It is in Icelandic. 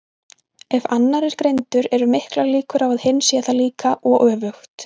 Ef annar er greindur eru miklar líkur á að hinn sé það líka, og öfugt.